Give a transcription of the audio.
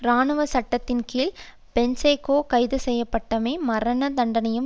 இராணுவ சட்டத்தின் கீழ் பொன்சேகா கைதுசெய்யப்பட்டுள்ளமை மரண தண்டனையையும்